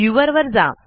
viewer वर जा